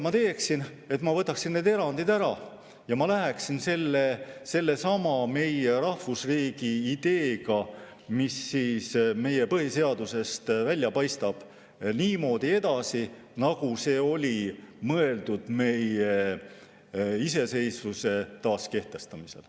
Ma need erandid ära ja läheksin sellesama meie rahvusriigi ideega, mis meie põhiseadusest välja paistab, niimoodi edasi, nagu see oli mõeldud meie iseseisvuse taaskehtestamisel.